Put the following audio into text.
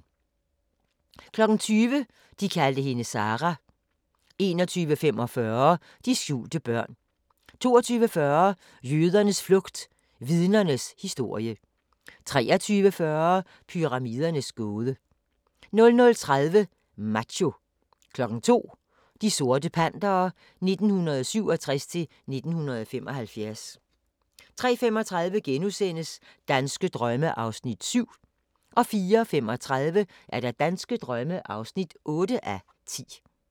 20:00: De kaldte hende Sarah 21:45: De skjulte børn 22:40: Jødernes flugt – Vidnernes historie 23:40: Pyramidernes gåde 00:30: Macho 02:00: De sorte Pantere 1967-1975 03:35: Danske drømme (7:10)* 04:35: Danske drømme (8:10)